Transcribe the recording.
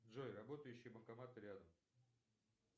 джой работающие банкоматы рядом